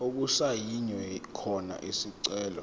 okusayinwe khona isicelo